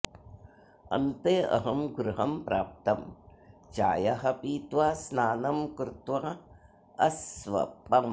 अन्ते अहं गृहं प्राप्तं चायः पीत्वा स्नानं कृत्वा अस्वपम्